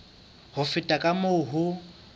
ho feta ka moo ho